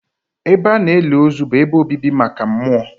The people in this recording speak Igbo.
Ebe a na-eli ozu bụ ebe obibi maka mmụọ.